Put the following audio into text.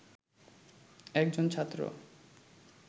একজন ছাত্র